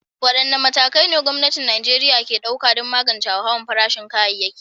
Wadanne matakai ne gwamnatin Najeriya ke ɗauka don magance hauhawar farashin kayayyaki?